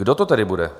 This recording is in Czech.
Kdo to tedy bude?